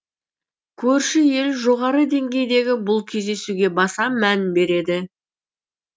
көрші ел жоғары деңгейдегі бұл кездесуге баса мән береді